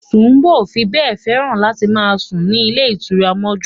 Ṣùbòmí ò fi bẹ́ẹ̀ fẹ́ràn láti máa sùn ní ilé ìtura mọ́jú